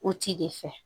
O ci de fɛ